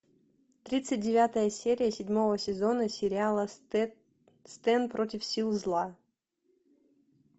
тридцать девятая серия седьмого сезона сериала стэн против сил зла